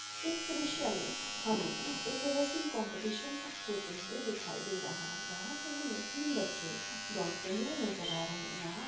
इस दृश्य मे हमे एक रेसिंग कांम्पिटिशन होते हुए दिखाई दे रहा है यह पर हमे तीन बच्चे दौड़ते हुए नजर आ रह है यहाँ --